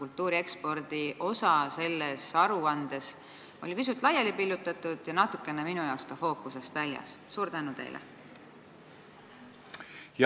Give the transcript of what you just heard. Kultuuri ekspordi osa oli aruandes pisut laiali pillutatud ja natukene minu jaoks ka fookusest väljas?